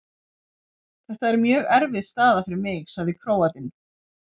Þetta er mjög erfið staða fyrir mig, sagði Króatinn.